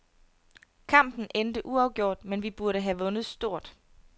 Kampen endte uafgjort, men vi burde have vundet stort.